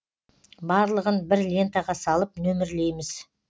барлығын бір лентаға салып нөмірлейміз